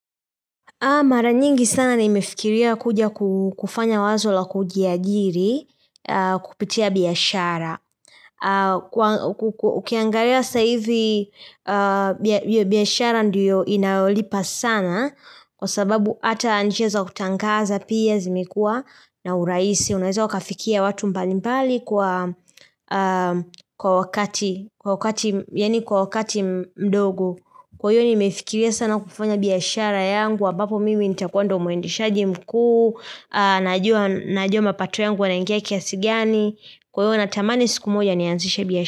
Mara nyingi sana nimefikiria kuja kufanya wazo la kujiajiri kupitia biashara. Ukiangalia saa hizii biashara ndiyo inayolipa sana kwa sababu hata njia za kutangaza pia zimekuwa na uraisi. Unaweza ukafikia watu mbalimbali kwaa kwa wakati kwa wakati yaani kwa wakati mmh. Mdogo, kwa hiyo nimefikiria sana kufanya biashara yangu, ambapo mimi nitakuwa ndiyo muendeshaji mkuu, najua najua mapato yangu yanaingia kiasi gani, kwa hiyo natamani siku moja nianzishe biashara.